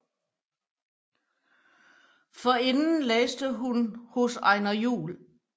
Forinden læste hun hos Einar Juhl